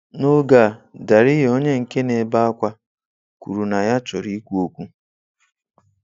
N'oge a, Dariye onye nke na-ebe akwa kwuru na ya chọrọ ikwu okwu.